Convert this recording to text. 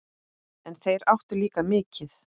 En þeir áttu líka mikið.